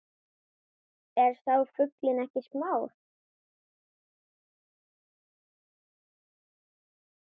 Er sá fuglinn ekki smár